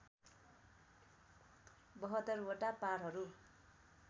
७२ वटा पारहरू